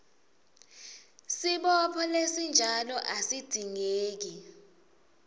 sibopho lesinjalo asidzingeki